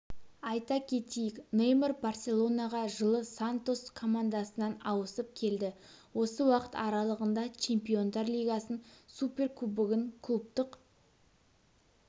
айта кетейік неймар барселонаға жылы сантос командасынан ауысып келді осы уақыт аралығында чемпиондар лигасын суперкубогын клубтық